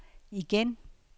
igen